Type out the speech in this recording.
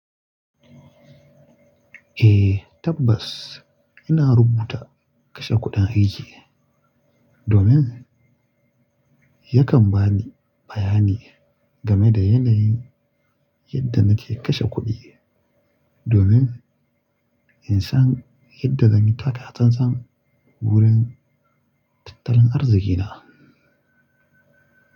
Eh tabbas ina rubuta kashe kuɗin aiki domin yakan bani bayani game da yanayin yadda nake kashe kuɗi domin in san yadda zan yi taka tsantsan wurin tattalin arzikina.